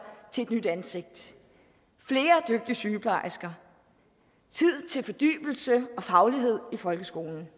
til et nyt ansigt flere dygtige sygeplejersker tid til fordybelse og faglighed i folkeskolen